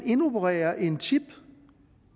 indopereret en chip